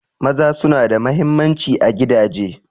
Maza suna da mahimmanci a gidaje.